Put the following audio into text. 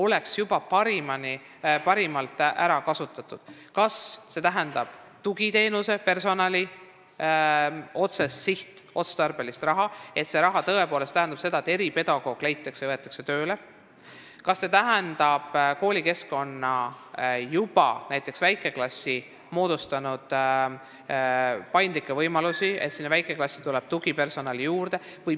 See võib tähendada sihtotstarbelist raha selleks, et leitakse personal otseselt tugiteenusteks ja võetakse tööle näiteks eripedagoog, see võib tähendada koolikeskkonna, näiteks juba moodustatud väikeklasside paindlikke võimalusi, nii et sinna tuleb tugipersonali juurde.